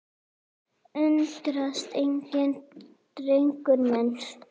Undrast enginn, drengur minn.